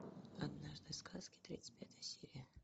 однажды в сказке тридцать пятая серия